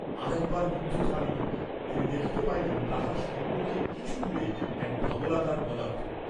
আর একবার বিদ্যুৎ হানিল, তিনি দেখিতে পাইলেন, তাঁহার সম্মুখে কিছু দূরে এক ধবলাকার পদার্থ।